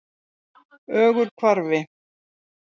Ögurhvarfi